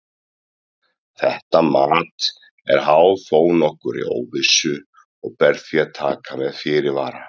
Þetta mat er háð þó nokkurri óvissu og ber því að taka með fyrirvara.